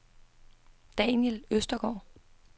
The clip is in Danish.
Daniel Østergaard